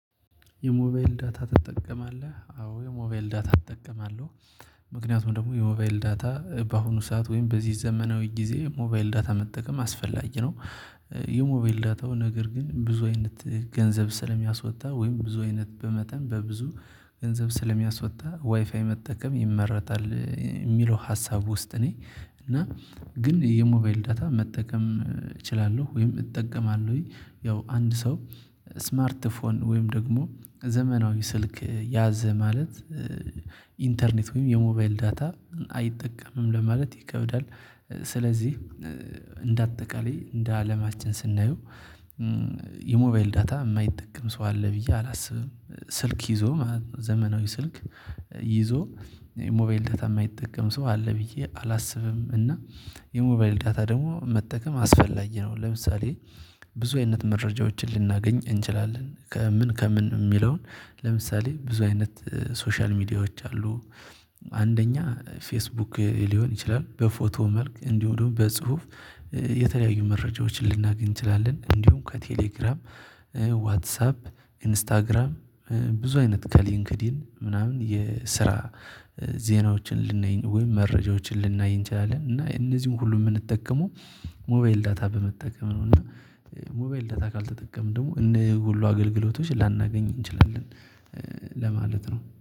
የሞባይል ዳታ ትጠቀማለህ? አዎ የሞባይል ዳታ እጠቀማለሁ። ምክንያቱም ደግሞ የሞባይል ዳታ በአሁኑ ሰዓት ወይም በዚህ ዘመናዊ ጊዜ ሞባይል ዳታ መጠቀም አስፈላጊ ነው። የሞባይል ዳታው ነገር ግን ብዙ አይነት ገንዘብ ስለሚያስወጣ ወይም ብዙ አይነት በመጠን በብዙ ገንዘብ ስለሚያስወጣ ዋይፋይ መጠቀም ይመረጣል የሚለው ሀሳብ ውስጥ እኔ እና ግን የሞባይል ዳታ መጠቀም እችላለሁ። ወይም እጠቀማለሁኝ ያው አንድ ሰው ስማርት ፎን ወይም ደግሞ ዘመናዊ ስልክ ያዘ ማለት ኢንተርኔት ወይም የሞባይል ዳታ አይጠቀምም ለማለት ይከብዳል። ስለዚህ እንደ አጠቃላይ እንደ አለማችን ስናየው የሞባይል ዳታ የማይጠቀም ሰው አለ ብዬ አላስብም። ስልክ ይዞ ዘመናዊ ስልክ ይዞ ሞባይል ዳታ የማይጠቀም ሰው አለ ብዬ አላስብም። እና የሞባይል ዳታ ደግሞ መጠቀም አስፈላጊ ነው። ለምሳሌ ብዙ አይነት መረጃዎችን ልናገኝ እንችላለን ከምን ከምን የሚለውን ለምሳሌ ብዙ አይነት ሶሻል ሚዲያዎች አሉ። አንደኛ ፌስቡክ ሊሆን ይችላል በፎቶ መልክ እንዲሁም ደግሞ በጽሁፍ የተለያዩ መረጃዎችን ልናገኝ እንችላለን። እንዲሁም ከቴሌግራም ዋትሳፕ ኢንስታግራም ብዙ አይነት ከሊንክዲን ምናምን የስራ ዜናዎችን ልናይ ወይም መረጃዎችን ልናይ እንችላለን። እና እነዚህን ሁሉ የምንጠቀመው ሞባይል ዳታ በመጠቀም ነው። እና ሞባይል ዳታ ካልተጠቀምን ደግሞ እነዚህን ሁሉ አገልግሎቶች ላናገኝ እንችላለን ለማለት ነው